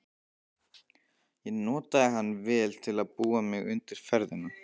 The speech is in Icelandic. Ég notaði hann vel til að búa mig undir ferðina.